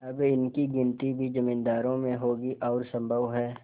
अब इनकी गिनती भी जमींदारों में होगी और सम्भव है